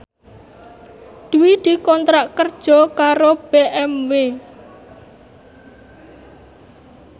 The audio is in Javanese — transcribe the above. Dwi dikontrak kerja karo BMW